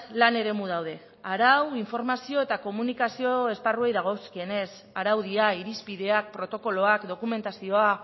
lan eremu daude arau informazio eta komunikazio esparruei dagozkienez araudia irizpideak protokoloak dokumentazioa